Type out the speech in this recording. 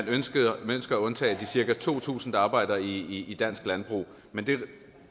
ønskede at undtage de cirka to tusind der arbejder i dansk landbrug men